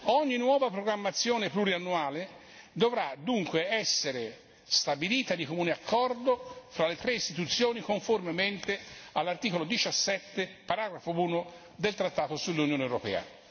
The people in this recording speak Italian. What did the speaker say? Ogni nuova programmazione pluriennale dovrà dunque essere stabilita di comune accordo fra le tre istituzioni conformemente all'articolo 17, paragrafo 1, del trattato sull'Unione europea.